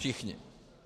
Všichni.